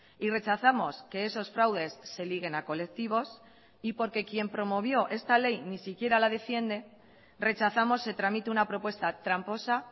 y rechazamos que esos fraudes se liguen a colectivos y porque quien promovió esta ley ni siquiera la defiende rechazamos se tramite una propuesta tramposa